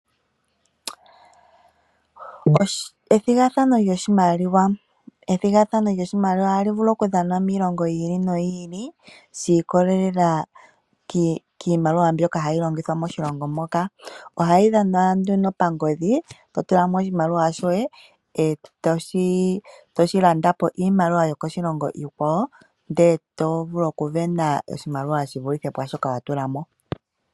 Ethigathano lyoshimaliwa Ethigathano lyoshimaliwa ohali vulu okudhanwa miilongo yi ili no yi ili, shi ikololela kiimaliwa mbyoka hayi longithwa moshilongo moka. Ohayi dhanwa nduno pangodhi, to tula mo oshimaliwa shoye eto shi landa po iimaliwa yokoshilongo iikwawo ndele to vulu okuvena oshimaliwa shivulithe mpwaashoka wa tula mo.